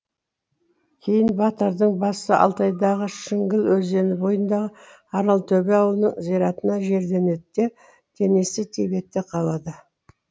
кейін батырдың басы алтайдағы шіңгіл өзені бойындағы аралтөбе ауылының зиратына жерленеді де денесі тибетте қалады